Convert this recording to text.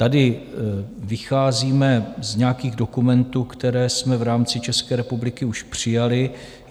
Tady vycházíme z nějakých dokumentů, které jsme v rámci České republiky už přijali.